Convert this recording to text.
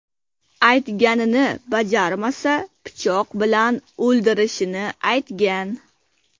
Aytganini bajarmasa, pichoq bilan o‘ldirishini aytgan.